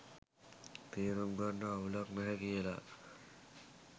තේරුම් ගන්න අවුලක් නැහැ කියලා